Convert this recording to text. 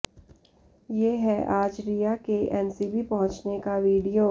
ये है आज रिया के एनसीबी पहुंचने का वीडियो